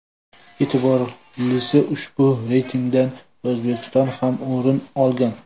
E’tiborlisi ushbu reytingdan O‘zbekiston ham o‘rin olgan.